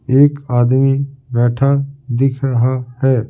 एक आदमी बैठा दिख रहा है ।